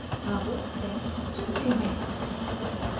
अब text चुनते हैं